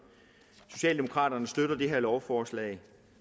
socialdemokraterne støtter det her lovforslag